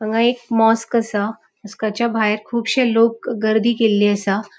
हांगा एक मॉस्क असा. मॉस्काच्या भायर कूबशे लोक गर्दी केल्ली असा.